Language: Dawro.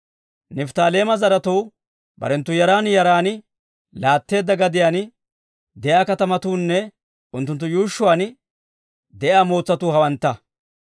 Nifttaaleema zaratuu barenttu yaran yaran laatteedda gadiyaan de'iyaa katamatuunne unttunttu yuushshuwaan de'iyaa mootsatuu hawantta.